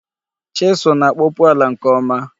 Chisụl na-akpọpu ala nke ọma.